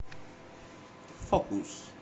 фокус